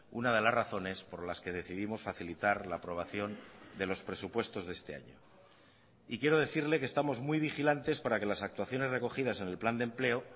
una de las razones por las que decidimos facilitar la aprobación de los presupuestos de este año y quiero decirle que estamos muy vigilantes para que las actuaciones recogidas en el plan de empleo